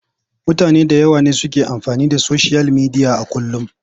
Mutane da yawa ne suke amfani da soshiyal midiya a kullum.